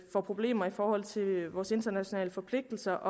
får problemer i forhold til vores internationale forpligtelser